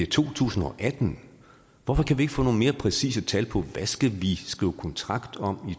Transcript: to tusind og atten hvorfor kan vi ikke få nogle mere præcise tal på hvad skal vi skrive kontrakt om